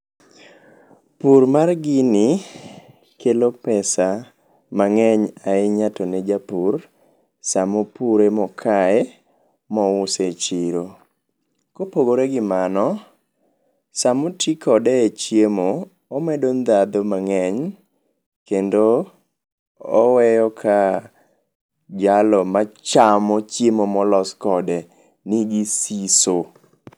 Pur mar gini kelo pesa mang'eny ahinya to ne japur, samopure, mokaye, mouse e chiro. Kopogore gi mano, samoti kode e chiemo, omedo ndhadhu mang'eny kendo oweyo ka jalo machamo chiemo molos kode nigi siso.